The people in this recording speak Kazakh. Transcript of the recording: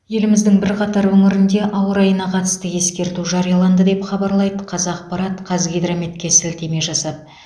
еліміздің бірқатар өңірінде ауа райына қатысты ескерту жарияланды деп хабарлайды қазақпарат қазгидрометке сілтеме жасап